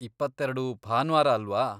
ಇಪ್ಪತ್ತೆರೆಡು ಭಾನ್ವಾರ ಅಲ್ವಾ?